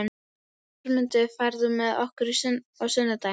Jörmundur, ferð þú með okkur á sunnudaginn?